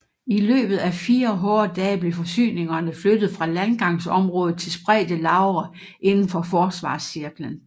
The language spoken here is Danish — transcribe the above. I løbet af fire hårde dage blev forsyningerne flyttet fra landgangsområdet til spredte lagre inden for forsvarscirklen